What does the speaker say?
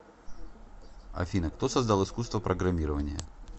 афина кто создал искусство программирования